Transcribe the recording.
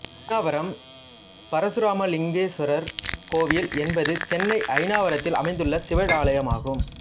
அயனாவரம் பரசுராமலிங்கேஸ்வரர் கோயில் என்பது சென்னை அயனாவரத்தில் அமைந்துள்ள சிவாலயமாகும்